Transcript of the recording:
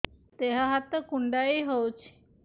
ଦେହ ହାତ କୁଣ୍ଡାଇ ହଉଛି